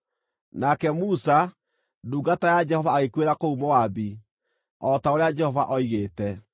Nake Musa, ndungata ya Jehova agĩkuĩra kũu Moabi, o ta ũrĩa Jehova oigĩte.